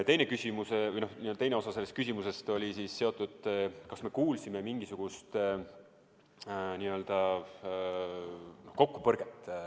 Teine osa sellest küsimusest oli, kas me kuulsime mingisugust kokkupõrget.